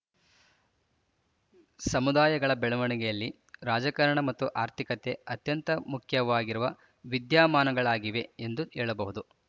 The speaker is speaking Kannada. ಸಮುದಾಯಗಳ ಬೆಳವಣಿಗೆಯಲ್ಲಿ ರಾಜಕಾರಣ ಮತ್ತು ಆರ್ಥಿಕತೆ ಅತ್ಯಂತ ಮುಖ್ಯವಾಗಿರುವ ವಿದ್ಯಮಾನಗಳಾಗಿವೆ ಎಂದು ಹೇಳಬಹುದು